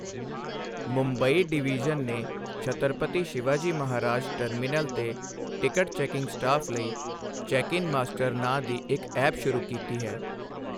Mumbai division ਨੇ Chhatrapati Shivaji Maharaj terminal ਤੇ ticket checking staff ਲਈ ਚੈਕਇਨ ਮਾਸਟਰ ਨਾਂ ਦੀ ਇੱਕ ਐਪ ਸ਼ੁਰੂ ਕੀਤੀ ਹੈ।